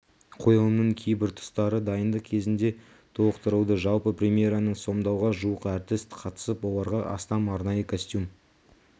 қойылымның кейбір тұстары дайындық кезінде толықтырылды жалпы премьераны сомдауға жуық әртіс қатысып оларға астам арнайы костюм